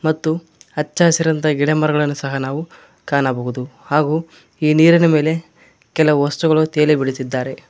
ಮತ್ತು ಹಚ್ಚ ಹಸಿರಾದಂತಹ ಗಿಡಮರಗಳನ್ನು ಸಹ ನಾವು ಕಾಣಬಹುದು ಹಾಗು ಈ ನೀರಿನ ಮೇಲೆ ಕೆಲವು ವಸ್ತುಗಳು ತೇಲಿ ಬಿಡುತ್ತಿದ್ದಾರೆ.